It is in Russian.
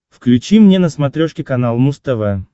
включи мне на смотрешке канал муз тв